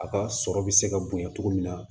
A ka sɔrɔ bɛ se ka bonya cogo min na